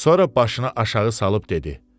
Sonra başını aşağı salıb dedi: